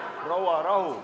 Proua, rahu!